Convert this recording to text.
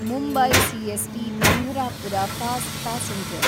Mumbai CST Pandharpur fast passenger